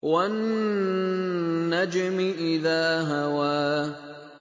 وَالنَّجْمِ إِذَا هَوَىٰ